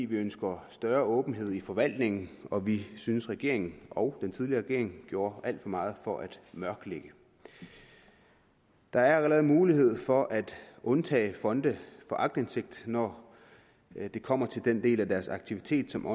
vi ønsker større åbenhed i forvaltningen og vi synes regeringen og den tidligere regering gjorde alt for meget for at mørklægge der er allerede mulighed for at undtage fonde fra aktindsigt når det kommer til den del af deres aktiviteter som